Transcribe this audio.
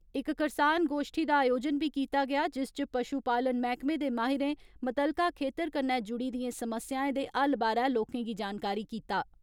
इक करसान गोष्ठी दा आयोजन बी कीता गेआ जिस च पशु पालन मैहकमे दे माहिरें मुत्तलका खेतर कन्नै जुड़ी दियें समस्याएं दे हल बारै लोकें गी जानकारी कीता।